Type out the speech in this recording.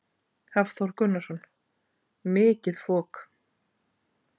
Hafþór Gunnarsson: Mikið fok?